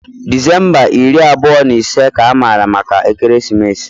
December iri abụọ na ise ka amara maka ekeresimesi.